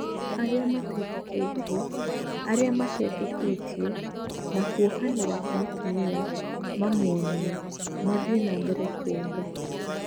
"Arĩa mateetĩkĩtie, "arĩa mateetĩkĩtie, na kuohanĩra kwa atumia, mamũonie, mathĩe na mbere kuonga.